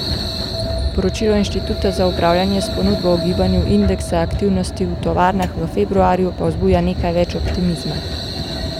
Poročilo Inštituta za upravljanje s ponudbo o gibanju indeksa aktivnosti v tovarnah v februarju pa vzbuja nekaj več optimizma.